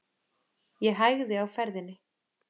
Ég hægði á ferðinni.